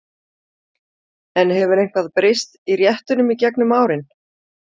En hefur eitthvað breyst í réttunum í gegnum árin?